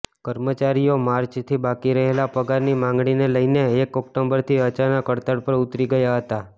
કર્મચારીઓ માર્ચથી બાકી રહેલા પગારની માંગણીને લઇને એક ઑક્ટોબરથી અચાનક હડતાળ પર ઉતરી ગયા હતા